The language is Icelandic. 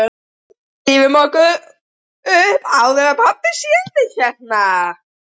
Drífum okkur upp áður en pabbi sér þig hérna